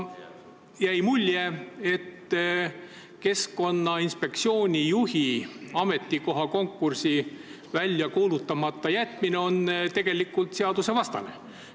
Jäi mulje, et Keskkonnainspektsiooni juhi konkursi väljakuulutamata jätmine on tegelikult seadusvastane.